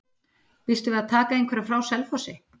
Býstu við að taka einhverja frá Selfossi?